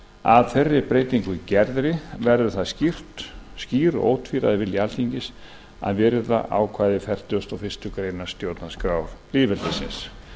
að þeirri breytingu gerðri verður það skýr og ótvíræður vilji alþingis að virða ákvæði fertugasta og fyrstu grein stjórnarskrár lýðveldisins